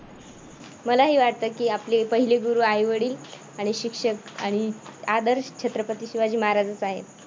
मलाही वाटत की आपले पहिले गुरू आई वडील आणि शिक्षक आणि आदर्श छत्रपती शिवाजी महाराजाचं आहे.